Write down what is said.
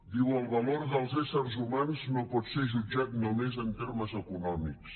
diu el valor dels éssers humans no pot ser jutjat només en termes econòmics